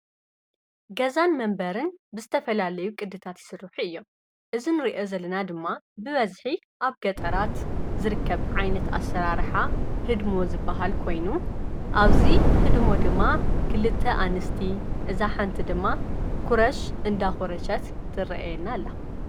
ገዛን መንበርን ብዝተፈላለዩ ቕድታት ይስርሑ እዮም። እዚ ንርአዮ ዘለና ድማ ብበዝሒ ኣብ ገጠራት ዝርከብ ዓይነት ኣሰራርሓ ህድሞ ዝበሃል ኮይኑ ኣብዙይ ህድሞ ድማ ክልተ ኣንስቲ፣ እዛ ሓንቲ ድማ ኲረሽ እንዳዂረሸት ትርአየና ኣላ።